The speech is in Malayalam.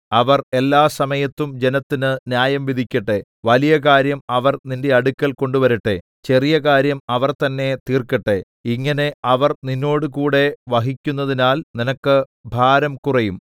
അവർ എല്ലാസമയത്തും ജനത്തിന് ന്യായം വിധിക്കട്ടെ വലിയ കാര്യം അവർ നിന്റെ അടുക്കൽ കൊണ്ടുവരട്ടെ ചെറിയ കാര്യം അവർ തന്നെ തീർക്കട്ടെ ഇങ്ങനെ അവർ നിന്നോടുകൂടെ വഹിക്കുന്നതിനാൽ നിനക്ക് ഭാരം കുറയും